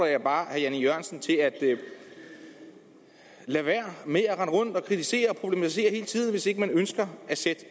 jeg bare herre jan e jørgensen til at lade være med at rende rundt og kritisere og problematisere hele tiden hvis ikke man ønsker at sætte